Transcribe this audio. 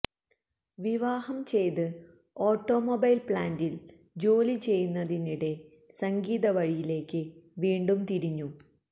വിവാഹം ചെയ്ത് ഓട്ടോമൊബേല് പ്ലാന്റില് ജോലി ചെയ്യുന്നതിനിടെ സംഗീതവഴിയിലേക്ക് വീണ്ടും തിരിഞ്ഞു